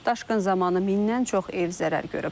Daşqın zamanı mindən çox ev zərər görüb.